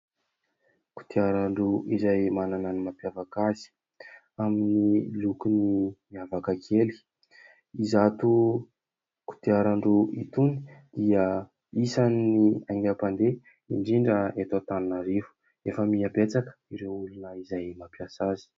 Kodiaran-droa izay manana ny mampiavaka azy amin'ny lokony miavaka kely. Izato kodiaran-ndroa itony dia isany ny aingam-pandeha indrindra eto antaninarivo. Efa mihabetsaka ireo olona izay mampiasa azy.